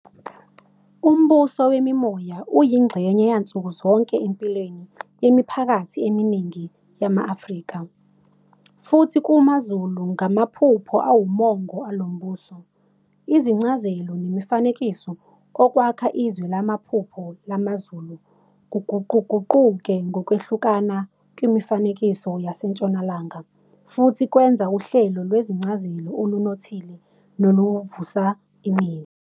Umbuso wemimoya uyingxenye yansukuzonke empilweni yemiphakathi eminingi yama-Afrika, futhi kumaZulu ngamaphupho awumongo alombuso. Izincazelo nemifanekiso okwakha izwe lamaphupho lamaZulu kuguquguquke ngokwehlukana kwimifanekiso yaseNtshonalanga, futhi kwenza uhlelo lwezincazelo olunothile noluvusa imizwa.